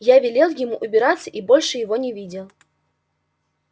я велел ему убираться и больше его не видел